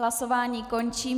Hlasování končím.